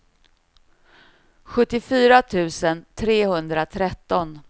sjuttiofyra tusen trehundratretton